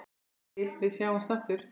Þangað til við sjáumst aftur.